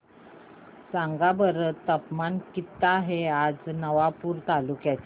सांगा बरं तापमान किता आहे आज नवापूर तालुक्याचे